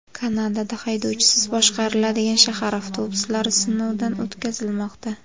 Kanadada haydovchisiz boshqariladigan shahar avtobuslari sinovdan o‘tkazilmoqda .